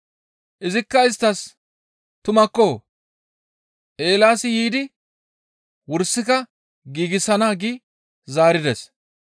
Izikka isttas, «Tumakko; Eelaasi yiidi wursika giigsana gi zaarides.